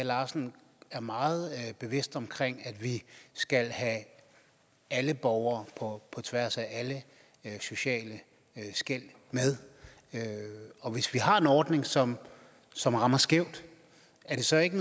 larsen er meget bevidst om at vi skal have alle borgere på tværs af alle sociale skel med og hvis vi har en ordning som som rammer skævt er det så ikke